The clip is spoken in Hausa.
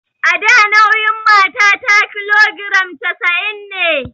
A da nauyin matata kilogiram casa'in ne